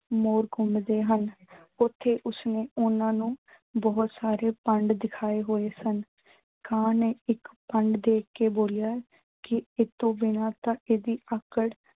ਮੋਰ ਘੁੰਮਦੇ ਹਨ। ਓਥੇ ਉਸਨੇ ਉਨ੍ਹਾਂ ਨੂੰ ਬਹੁਤ ਸਾਰੇ ਭੰਡ ਦਿਖਾਏ ਹੋਏ ਸਨ। ਕਾਂ ਨੇ ਇੱਕ ਭੰਡ ਦੇਖ ਕੇ ਬੋਲਿਆ ਕਿ ਇਹਤੋਂ ਬਿਨਾਂ ਤਾਂ ਇਹਦੀ ਆਕੜ